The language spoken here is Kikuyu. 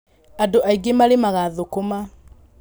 arĩmĩ aĩngi marĩmanga thũkũma